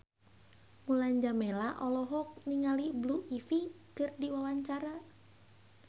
Mulan Jameela olohok ningali Blue Ivy keur diwawancara